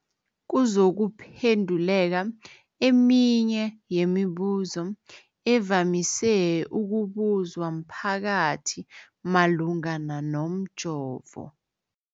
Kuzokuphenduleka eminye yemibuzo evamise ukubuzwa mphakathi malungana nomjovo.